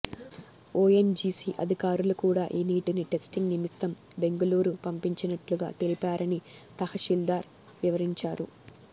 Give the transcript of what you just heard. ONGC అధికారులు కూడా ఈ నీటిని టెస్టింగ్ నిమిత్తం బెంగుళూరు పంపించినట్లు తెలిపారని తహశీల్థార్ వివరించారు